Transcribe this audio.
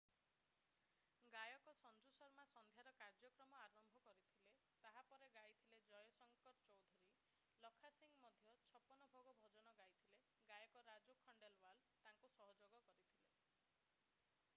ଗାୟକ ସଞ୍ଜୁ ଶର୍ମା ସନ୍ଧ୍ୟାର କାର୍ଯ୍ୟକ୍ରମ ଆରମ୍ଭ କରିଥିଲେ ତାହା ପରେ ଗାଇଥିଲେ ଜୟ ଶଙ୍କର ଚୌଧୁରୀ ଲଖା ସିଂହ ମଧ୍ୟ ଛପନ ଭୋଗ ଭଜନ ଗାଇଥିଲେ ଗାୟକ ରାଜୁ ଖଣ୍ଡେଲୱାଲ ତାଙ୍କୁ ସହଯୋଗ କରିଥିଲେ